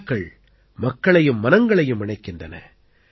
விழாக்கள் மக்களையும் மனங்களையும் இணைக்கின்றன